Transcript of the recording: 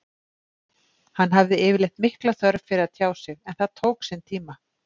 Hann hafði yfirleitt mikla þörf fyrir að tjá sig en það tók sinn tíma.